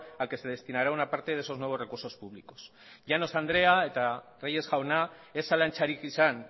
al que se destinará una parte de esos nuevos recursos públicos llanos andrea eta reyes jauna ez zalantzarik izan